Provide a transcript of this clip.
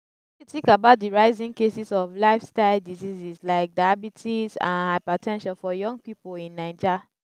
wetin you think about di rising cases of lifestyle diseases like diabetes and hyper ten sion for young people in naija?